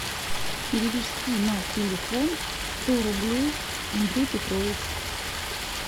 перевести на телефон сто рублей андрей петрович